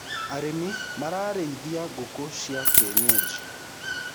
arĩmi marariithia ngũkũ cia kĩenyenji